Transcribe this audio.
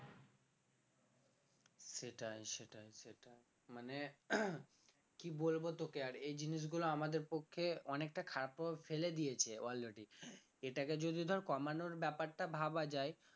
সেটাই সেটাই সেটাই মানে কি বলবো তোকে আর এই জিনিসগুলো আমাদের পক্ষে অনেকটা খারাপ প্রভাব ফেলে দিয়েছে already এটাকে যদি ধর কমানোর ব্যাপারটা ভাবা যায়